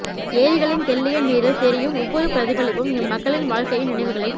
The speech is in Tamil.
ஏரிகளின் தெள்ளிய நீரில் தெரியும் ஒவ்வொரு பிரதிபலிப்பும் எம் மக்களின் வாழ்க்கையின் நினைவுகளை